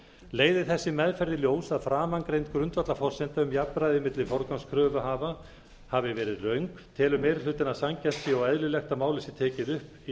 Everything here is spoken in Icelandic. leiði þessi meðferð í ljós að framangreind grundvallarforsenda um jafnræði milli forgangskröfuhafa hafi verið röng telur meiri hlutinn að sanngjarnt sé og eðlilegt að málið sé tekið upp í